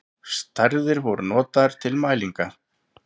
Stærðir voru notaðar til mælinga.